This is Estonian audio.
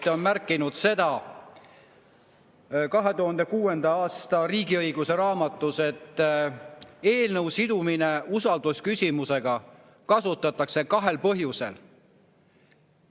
Ta on märkinud 2006. aastal ilmunud raamatus "Riigiõigus", et eelnõu sidumist usaldusküsimusega kasutatakse kahel põhjusel.